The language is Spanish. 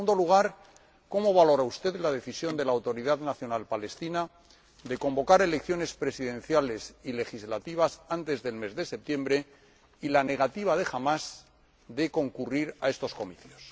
En segundo lugar, cómo valora usted la decisión de la Autoridad Nacional Palestina de convocar elecciones presidenciales y legislativas antes del mes de septiembre y la negativa de Hamás a concurrir a estos comicios.